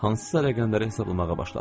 Hansısa rəqəmləri hesablamağa başladı.